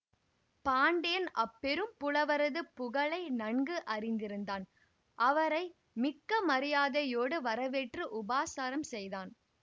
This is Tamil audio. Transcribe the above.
பாண்டியன் அப்பெரும் புலவரது புகழை நன்கு அறிந்திருந்தான் அவரை மிக்க மரியாதையோடு வர வேற்று உபசாரம் செய்தான்